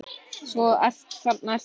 Svo þarna ertu þá!